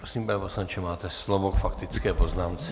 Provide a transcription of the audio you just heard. Prosím, pane poslanče, máte slovo k faktické poznámce.